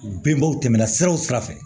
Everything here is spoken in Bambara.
Bɛnbaaw tɛmɛna siraw sira fɛ